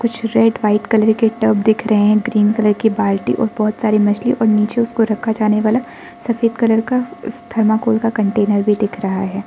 कुछ red white colour के tub दिख रहे ग्रीन कलर की बाल्टी और बहोत सारी मछली और नीचे उसको रखा जाने वाला सफेद कलर का थर्माकोल का कंटेनर भी दिख रहा है।